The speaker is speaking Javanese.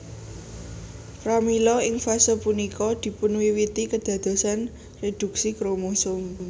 Pramila ing fase punika dipunwiwiti kedadosan reduksi kromosom